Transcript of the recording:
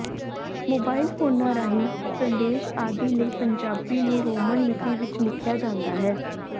mobile ਫੋਨਾਂ ਰਾਹੀਂ ਸੰਦੇਸ਼ ਆਦਿ ਲਈ ਪੰਜਾਬੀ ਨੂੰ ਰੋਮਨ ਲਿਪੀ ਵਿੱਚ ਲਿਖਿਆ ਜਾਂਦਾ ਹੈ